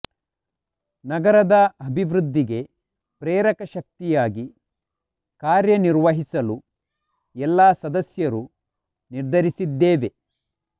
ನಗರದ ಅಭಿವೃದ್ಧಿಗೆ ಪ್ರೇರಕ ಶಕ್ತಿಯಾಗಿ ಕಾರ್ಯನಿರ್ವಹಿಸಲು ಎಲ್ಲಾ ಸದಸ್ಯರು ನಿರ್ಧರಿಸಿದ್ದೇವೆ